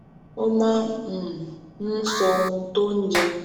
ó máa um ń sọ ohun tó ń jẹ